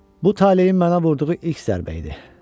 Bu talehin mənə vurduğu ilk zərbə idi.